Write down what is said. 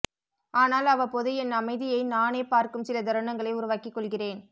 ஆனால் அவ்வப்போது என் அமைதியை நானே பார்க்கும் சில தருணங்களை உருவாக்கிக் கொள்கிறேன்